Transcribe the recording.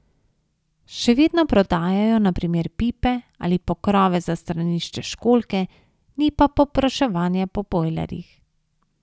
Še vedno prodajajo na primer pipe ali pokrove za stranišče školjke, ni pa povpraševanja po bojlerjih.